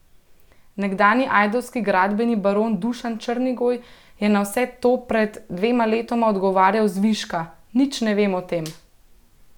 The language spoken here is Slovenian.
Nekdanji ajdovski gradbeni baron Dušan Črnigoj je na vse to pred dvema letoma odgovarjal zviška: "Nič ne vem o tem.